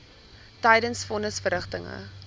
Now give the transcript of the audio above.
tydens von nisverrigtinge